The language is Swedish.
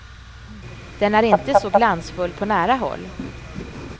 Den är inte så glansfull på nära håll.